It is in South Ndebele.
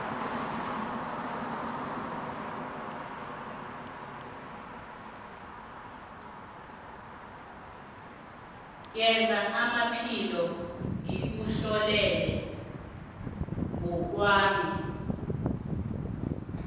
wezamaphilo ngikutlolela ngokwami